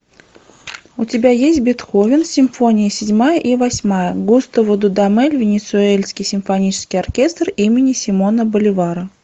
у тебя есть бетховен симфония седьмая и восьмая густаво дудамель венесуэльский симфонический оркестр имени симона боливара